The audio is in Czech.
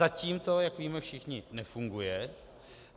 Zatím to, jak víme všichni, nefunguje.